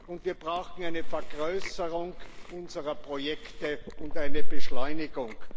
und wir brauchen eine Vergrößerung unserer Projekte und eine Beschleunigung.